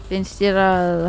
finnst þér að